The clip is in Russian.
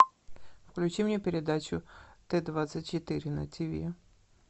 включи мне передачу т двадцать четыре на тиви